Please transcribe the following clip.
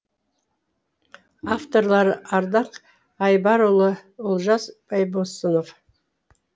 авторлары ардақ айбарұлы олжас байбосынов